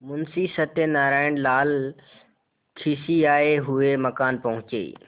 मुंशी सत्यनारायणलाल खिसियाये हुए मकान पहुँचे